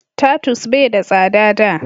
tatus bai da tsada da